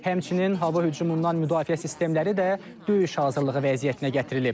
Həmçinin hava hücumundan müdafiə sistemləri də döyüş hazırlığı vəziyyətinə gətirilib.